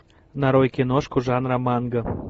нарой киношку жанра манга